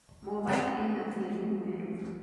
Mombasa ĩna tĩri mwerũ.